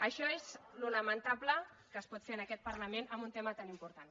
això és el lamentable que es pot fer en aquest parlament en un tema tan important